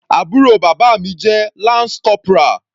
Àbúrò bàbá mi jẹ́ lance corporal.